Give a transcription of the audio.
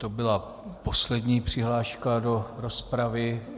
To byla poslední přihláška do rozpravy.